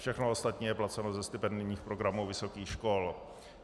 Všechno ostatní je placeno ze stipendijních programů vysokých škol.